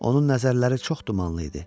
Onun nəzərləri çox dumanlı idi.